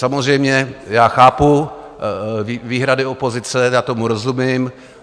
Samozřejmě já chápu výhrady opozice, já tomu rozumím.